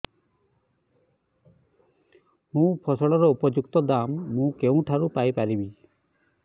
ମୋ ଫସଲର ଉପଯୁକ୍ତ ଦାମ୍ ମୁଁ କେଉଁଠାରୁ ପାଇ ପାରିବି